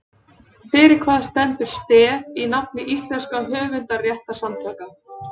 Fyrir hvað stendur STEF í nafni íslenskra höfundarréttarsamtaka?